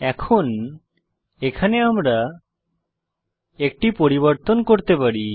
এখন এখানে আমরা একটি পরিবর্তন করতে পারি